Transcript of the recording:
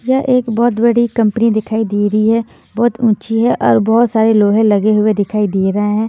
ये एक बहोत बड़ी कंपनी दिखाई दे रही है बहुत ऊंची है और बहोत सारे लोहे लगे हुए दिखाई दे रहे हैं।